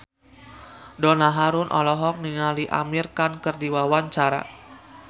Donna Harun olohok ningali Amir Khan keur diwawancara